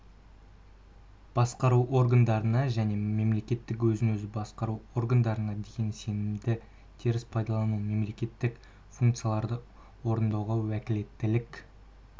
басқару органдарына және мемлекеттік өзін-өзі басқару органдарына деген сенімді теріс пайдаланды мемлекеттік функцияларды орындауға уәкілеттілік